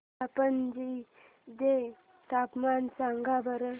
मला पणजी चे तापमान सांगा बरं